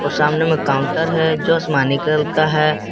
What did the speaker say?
सामने मे काउंटर जो असमानी कलर का है।